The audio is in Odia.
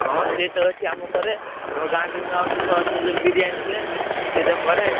ହଁ ସିଏ ତ ଏଇଠି ଅମର କରେ, ଆମ ଗାଁ ରେ ନୁଆ ବର୍ଷ ଫୁଆ ବର୍ଷ ରେ ଯୋଉ ବିରିୟାନି ହୁଏ, ସିଏ ତ କରେ।